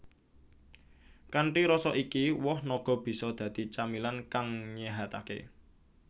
Kanthi rasa iki woh naga bisa dadi camilan kang nyéhataké